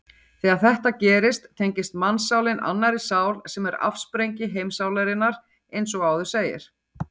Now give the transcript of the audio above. Þegar þetta gerist tengist mannssálin annarri sál sem er afsprengi heimssálarinnar eins og áður segir.